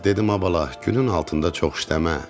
Dedim ay bala, günün altında çox işləmə.